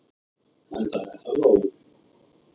Enda er það nóg.